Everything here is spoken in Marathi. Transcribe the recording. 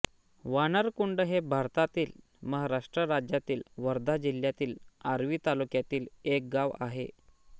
वानरकुंड हे भारतातील महाराष्ट्र राज्यातील वर्धा जिल्ह्यातील आर्वी तालुक्यातील एक गाव आहे